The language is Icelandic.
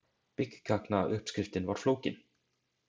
Byggkaknauppskriftin var flókin.